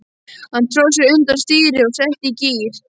Hann tróð sér undir stýri og setti í gír.